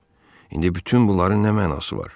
İndi bütün bunların nə mənası var?